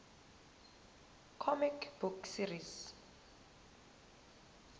comic book series